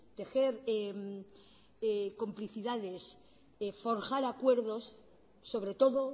tejer complicidades forjar acuerdos sobre todo